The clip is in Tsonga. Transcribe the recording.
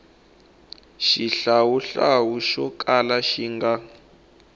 xihlawuhlawu xo kala xi nga